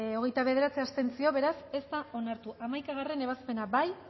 contra hogeita bederatzi abstentzio beraz ez da onartu hamaikagarrena ebazpena bozkatu